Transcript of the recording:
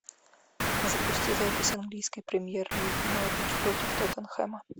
запусти запись английской премьер лиги норвич против тоттенхэма